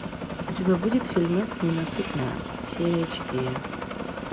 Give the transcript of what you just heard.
у тебя будет фильмец ненасытная серия четыре